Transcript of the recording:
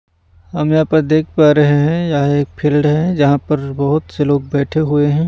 हम यहाँ पर देख पा रहे हैं यह एक फील्ड है जहाँ पर बहुत से लोग बैठे हुए हैं।